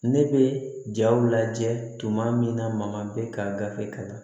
Ne bɛ jaw lajɛ tuma min na ma bɛ ka gafe kalan